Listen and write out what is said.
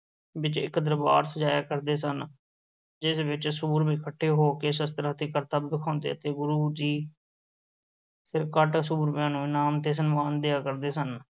ਵਿੱਚ ਇੱਕ ਦਰਬਾਰ ਸਜਾਇਆ ਕਰਦੇ ਸਨ, ਜਿਸ ਵਿੱਚ ਸੂਰਮੇ ਇਕੱਠੇ ਹੋ ਕੇ ਸ਼ਸਤਰਾਂ ਦੇ ਕਰਤੱਬ ਵਿਖਾਉਂਦੇ ਅਤੇ ਗੁਰੂ ਜੀ ਸਿਰਕੱਢ ਸੂਰਮਿਆਂ ਨੂੰ ਇਨਾਮ ਤੇ ਸਨਮਾਨ ਦਇਆ ਕਰਦੇ ਸਨ।